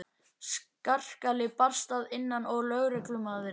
Skarkali barst að innan og lögreglumaðurinn austfirski hnyklaði brýnnar.